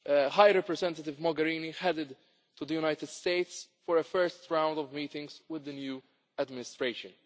ago, High Representative Mogherini headed to the United States for a first round of meetings with the new administration.